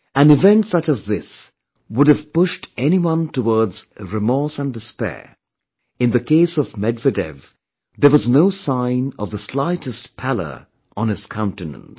An event such as this would have pushed anyone towards remorse and despair; in the case of Medvedev, there was no sign of the slightest pallor on his countenance